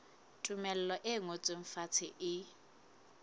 tumello e ngotsweng fatshe e